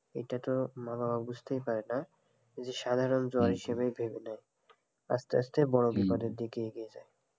এটা তো মা বাবা বুঝতেই পারে না যে সাধারণ জ্বর হিসেবে ভেবে নেয় আস্তে আস্তে বড়ো বিপদের দিকে এগিয়ে যায়,